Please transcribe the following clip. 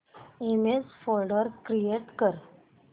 image folder create कर